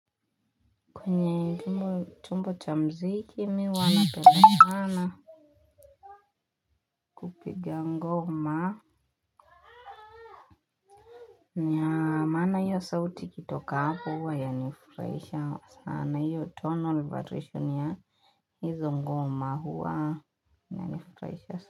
Kwenye tumbo tumbo cha mziki mi wanapele sana kupiga ngoma ni ya maana hiyo sauti ikitika hapo yanifraisha na hiyo tonal variation ya hizo huwa.